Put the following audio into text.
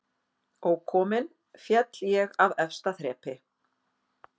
Ókominn féll ég af efsta þrepi